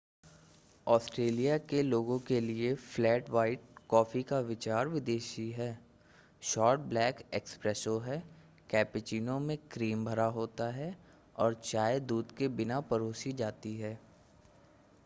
Australia के लोगों के लिए 'फ्लैट व्हाइट' कॉफी का विचार विदेशी है। शॉर्ट ब्लैक 'एस्प्रेसो' है कैपेचीनो में क्रीम झाग नहीं भरा होता है और चाय दूध के बिना परोसी जाती है।